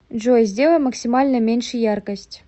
джой сделай максимально меньше яркость